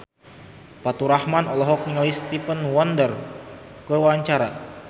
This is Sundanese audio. Faturrahman olohok ningali Stevie Wonder keur diwawancara